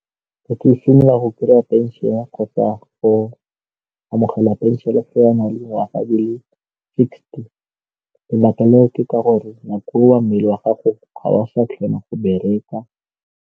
Fa ke simolola go kry-a pension kgotsa go amogela pension-e ya fa o na le dingwaga di le sixty lebaka le botoka gore nako ya mmele wa gago ga o sa kgona go bereka.